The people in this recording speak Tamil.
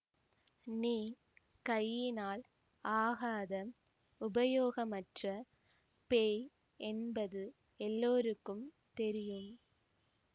நீ கையினால் ஆகாத உபயோகமற்ற பேய் என்பது எல்லோருக்கும் தெரியும்